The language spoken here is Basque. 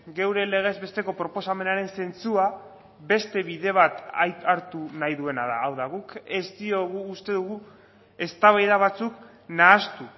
geure legez besteko proposamenaren zentzua beste bide bat hartu nahi duena da hau da guk ez diogu uste dugu eztabaida batzuk nahastu